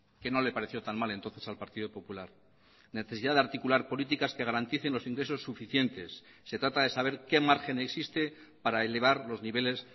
que no le pareció tan mal entonces al partido popular necesidad de articular políticas que garanticen los ingresos suficientes se trata de saber qué margen existe para elevar los niveles